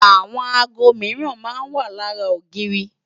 Àwọn aago mìíran máa ń wà lára ogiiri